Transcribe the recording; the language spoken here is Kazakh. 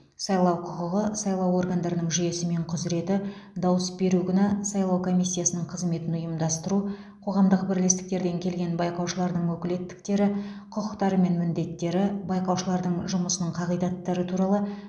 сайлау құқығы сайлау органдарының жүйесі мен құзыреті дауыс беру күні сайлау комиссиясының қызметін ұйымдастыру қоғамдық бірлестіктерден келген байқаушылардың өкілеттіктері құқықтары мен міндеттері байқаушылардың жұмысының қағидаттары туралы